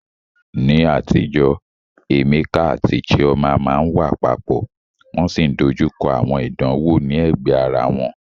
Ní àtijọ́, Emeka àti Chioma máa ń wà papọ̀, wọ́n sì ń dojú kọ àwọn ìdánwò ní ẹ̀gbẹ́ ara wọn